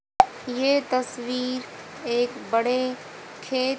ये तस्वीर एक बड़े खे--